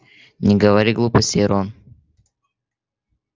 не говори глупостей рон